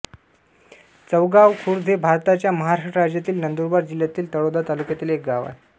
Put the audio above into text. चौगाव खुर्द हे भारताच्या महाराष्ट्र राज्यातील नंदुरबार जिल्ह्यातील तळोदा तालुक्यातील एक गाव आहे